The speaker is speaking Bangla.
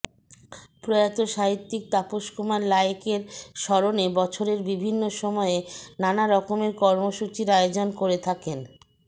প্রয়াত সাহিত্যিক তাপসকুমার লায়েকের স্মরণে বছরের বিভিন্ন সময়ে নানা রকমের কর্মসূচির আয়োজন করে থাকেন